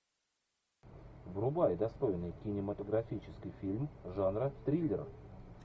врубай достойный кинематографический фильм жанра триллер